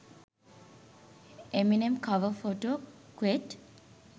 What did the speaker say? eminem cover photo quote